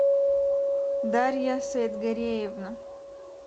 дарья саидгареевна